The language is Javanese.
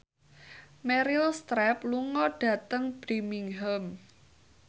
Meryl Streep lunga dhateng Birmingham